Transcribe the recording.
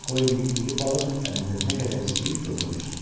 Qoy indi iri balıq dənizdə nə qədər istəyir dövrə vursun.